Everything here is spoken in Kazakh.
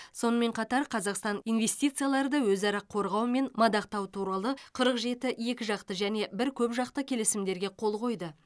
сонымен қатар қазақстан инвестицияларды өзара қорғау мен мадақтау туралы қырық жеті екіжақты әжне бір көпжақты келісімдерге қол қойды